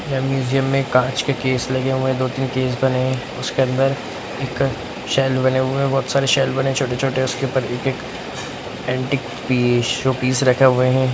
यह म्यूजियम में काँच के केस लगे हुए हैं दो-तीन केस बने हैं उसके अंदर एक शेल्फ बने हुए हैं बहुत सारे शेल्फ बने हैं छोटे-छोटे उसके ऊपर एक-एक एंटीक पीस शो-पिस रखे हुए हैं।